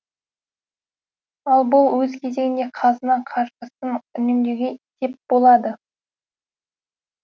ал бұл өз кезегінде қазына қаржысын үнемдеуге сеп болады